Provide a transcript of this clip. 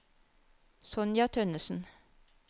Sonja Tønnesen